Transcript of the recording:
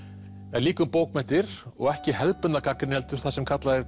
en líka um bókmenntir og ekki hefðbundna gagnrýni heldur það sem kallað er